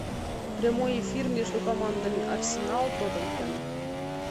прямой эфир между командами арсенал тоттенхэм